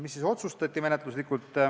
Mida otsustati menetluslikult?